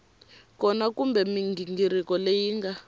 kona kumbe mighingiriko leyi nga